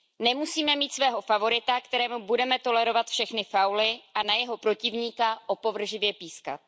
Nemusíme mít svého favorita, kterému budeme tolerovat všechny fauly, a na jeho protivníka opovržlivě pískat.